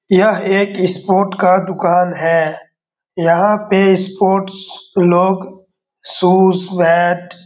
यह एक स्पोर्ट का दुकान है। यहाँ पे स्पोर्ट्स लोग शूज़ बैट --